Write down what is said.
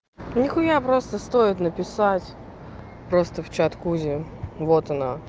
нехуя просто стоит написать просто в чат кузе вот она